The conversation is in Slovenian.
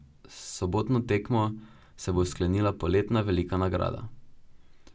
S sobotno tekmo se bo sklenila poletna velika nagrada.